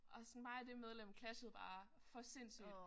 Og sådan mig og det medlem clashede bare for sindssygt